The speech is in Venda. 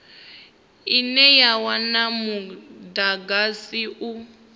ine ya wana mudagasi u